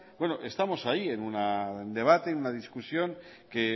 estamos ahí en un debate en una discusión que